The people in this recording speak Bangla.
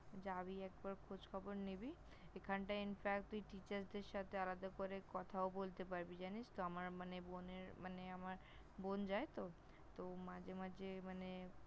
যাবি একবার, খোঁজখবর নিবি এখানটায় Infact তুই Teacher -দের সাথে আলাদা করে কথাও বলতে পারবি জানিস তো? আমার মানে বোনের মানে আমার বোন যায় তো, তো মাঝে মাঝে মানে